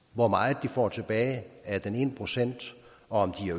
hvor meget de får tilbage af den ene procent og om de